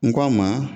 N k'a ma